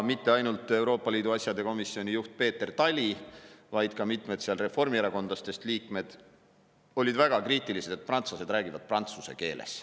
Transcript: Mitte ainult Euroopa Liidu asjade komisjoni juht Peeter Tali, vaid ka mitmed reformierakondlastest liikmed olid väga kriitilised, et prantslased räägivad prantsuse keeles.